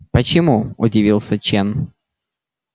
почему удивился чен